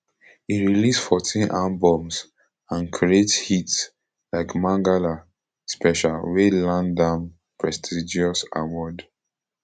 e release fourteen albums and create hits like mangala special wey land am prestigious award